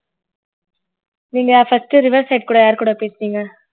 நீங்க first riverside கூட யார் கூட பேசுனீங்க